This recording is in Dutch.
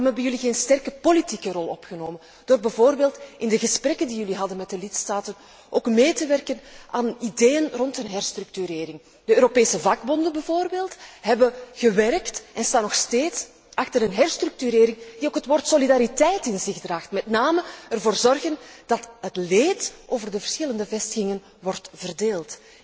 Waarom hebben jullie geen sterke politieke rol opgenomen door bijvoorbeeld in de gesprekken die jullie hadden met de lidstaten ook mee te werken aan ideeën rond een herstructurering. De Europese vakbonden bijvoorbeeld, hebben gewerkt en staan nog steeds achter een herstructurering, die ook het woord solidariteit in zich draagt, met name ervoor zorgen dat het leed over de verschillende vestigingen wordt verdeeld.